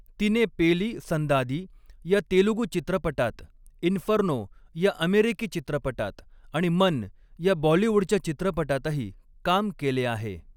तिने पेली संदादी ह्या तेलगू चित्रपटात, इन्फर्नो या अमेरिकी चित्रपटात आणि मन या बॉलिवूडच्या चित्रपटातही काम केले आहे.